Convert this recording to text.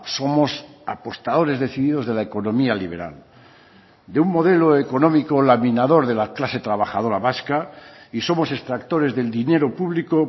somos apostadores decididos de la economía liberal de un modelo económico laminador de la clase trabajadora vasca y somos extractores del dinero público